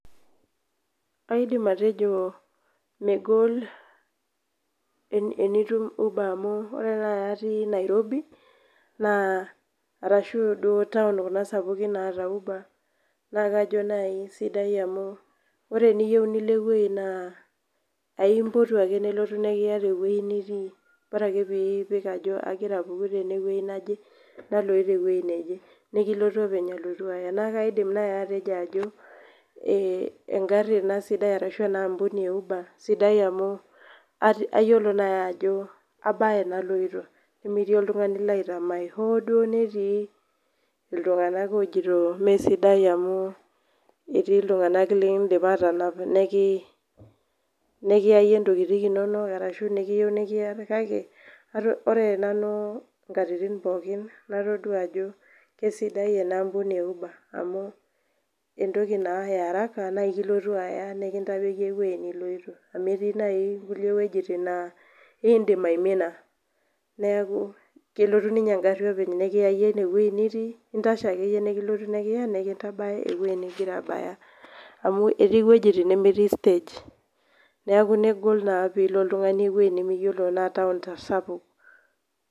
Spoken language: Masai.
Aidim atejo megol enitum uber amu ore nai atii Nairobi, naa arashu duo taon kuna sapukin naata uber, na kajo nai sidai amu ore eniyieu nilo ewoi naa aimpotu ake nelotu nikiya tewoi nitii. Bara ake pii ipik ajo agira apuku tenewei naje, naloito ewei neje. Nikilotu openy alotu aya. Na kaidim nai atejo ajo, egarri ina sidai arashu enaampuni e uber, sidai amu ayiolo nai ajo abaya enaloito. Nemetii oltung'ani laitamaai hoduo netii iltung'anak ojito mesidai amu etii iltung'anak lidipa atanap nekiyayie ntokiting inonok arashu nekiyieu nekiya kake, ore nanu inkatitin pookin natodua ajo kesidai enaampuni e uber. Amu entoki naa e araka na akilotu aya nekintadoki ewoi niloito. Amu etii nai kulie wojiting naa idim aimina. Neeku kelotu ninye egarri openy nekiyayie inewoi nitii, intashe akeyie nikilotu nekiya nikintabaya ewoi nigira abaya. Amu etii wojiting nimitii stage. Neeku negol naa pilo oltung'ani ewoi nimiyiolo na taon sapuk.